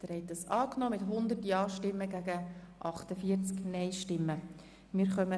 Sie haben Ziffer 2 als Postulat angenommen.